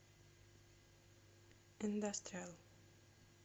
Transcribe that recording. индастриал